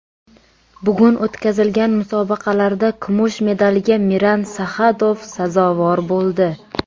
Bugun o‘tkazilgan musobaqalarda kumush medalga Miran Saxadov sazovor bo‘ldi.